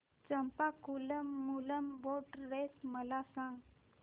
Champakulam Moolam boat race मला सांग